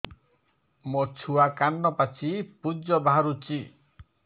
ମୋ ଛୁଆ କାନ ପାଚି ପୂଜ ବାହାରୁଚି